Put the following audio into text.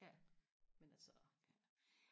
ja men altså